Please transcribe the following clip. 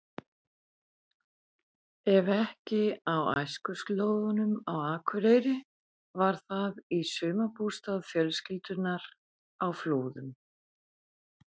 Ef ekki á æskuslóðunum á Akureyri var það í sumarbústað fjölskyldunnar á Flúðum.